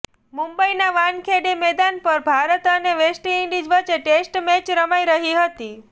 મુંબઇના વાનખેડે મેદાન પર ભારત અને વેસ્ટઇન્ડીઝ વચ્ચે ટેસ્ટ મેચ રમાઇ રહી હતી